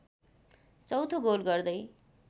चौथो गोल गर्दै